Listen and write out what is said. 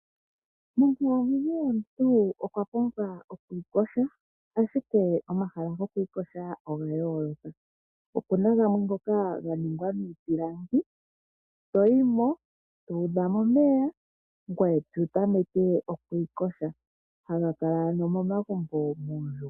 Monkalamwenyo yomuntu okwa pumbwa oku iyoga, ashike omahala goku iyoga oga yooloka, opuna gamwe ngoka ga ningwa miipilangi, toyi mo to udha mo omeya, ngoye to tameke oku iyoga, haga kala ano momagumbo.